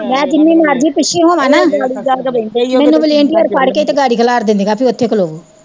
ਮੈਂ ਜਿੰਨੀ ਮਰਜ਼ੀ ਪਿੱਛੇ ਹੋਵਾਂ ਨਾ ਮੈਨੂੰ volunteer ਫੜ ਕੇ ਤੇ ਗਾੜੀ ਖਲਾਰ ਦਿੰਦੀਆ ਵੀ ਓਥੇ ਖੋਲੋਵੋ